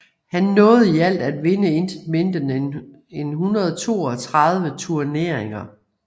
Han nåede i alt at vinde intet mindre end 132 turneringer